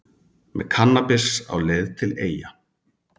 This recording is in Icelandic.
Með kannabis á leið til Eyja